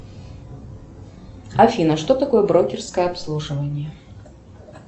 афина что такое брокерское обслуживание